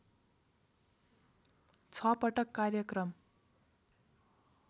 छ पटक कार्यक्रम